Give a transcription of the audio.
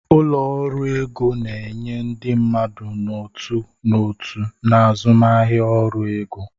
Ụlọ ọrụ ego na enye ndị mmadụ n'otu n'otu na azụmahịa ọrụ ego.